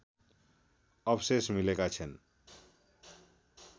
अवशेष मिलेका छन्